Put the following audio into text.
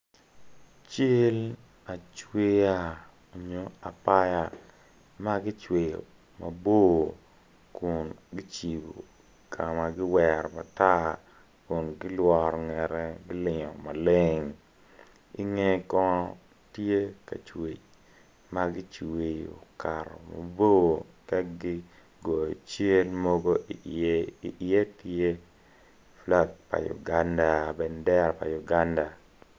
Cal acweya nyo apaya ma gicweyo mabor kun gicibo ka ma giwero matar kun gilworo ngete gilingo maleng inge kono tye ka cwec ma gicweyo okato mabor ka gigoyo cal mogo iye iye tye bandera pa Uganda.